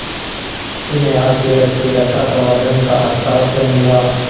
जिन्हें हास्यरस के रसास्वादन का अच्छा अवसर मिला